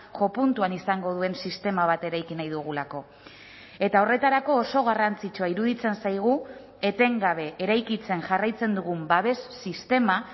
jopuntuan izango duen sistema bat eraiki nahi dugulako eta horretarako oso garrantzitsua iruditzen zaigu etengabe eraikitzen jarraitzen dugun babes sistema